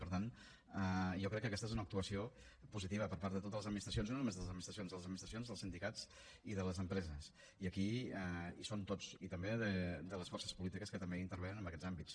per tant jo crec que aquesta és una actuació positiva per part de totes les administracions i no només de les administracions de les administracions dels sindicats i de les empreses i aquí hi som tots i també de les forces polítiques que també intervenen en aquests àmbits